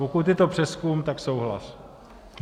Pokud je to přezkum, tak souhlas.